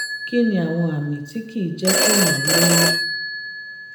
kí ni àwọn àmì tí kì í jẹ́ kéèyàn lóyún?